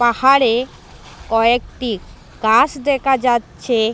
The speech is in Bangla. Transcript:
পাহাড়ে কয়েকটি গাস দেখা যাচ্ছে।